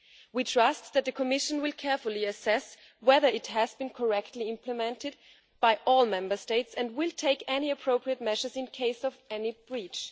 We trust that the Commission will carefully assess whether it has been correctly implemented by all Member States and will take any appropriate measures in the case of any breach.